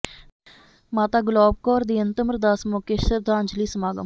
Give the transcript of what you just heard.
ਮਾਤਾ ਗੁਲਾਬ ਕੌਰ ਦੀ ਅੰਤਿਮ ਅਰਦਾਸ ਮੌਕੇ ਸ਼ਰਧਾਂਜਲੀ ਸਮਾਗਮ